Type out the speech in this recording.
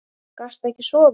Gastu ekki sofið?